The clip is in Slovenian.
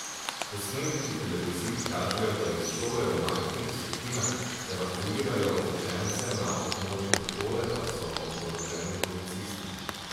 Posnetki televizij kažejo, da iz šole v majhnih skupinah evakuirajo učence, na območju šole pa so oboroženi policisti.